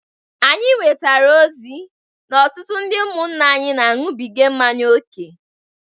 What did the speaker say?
Anyị nwetara ozi n'ọtụtụ ndị ụmụnna anyị na-aṅụbịga mmanya oke.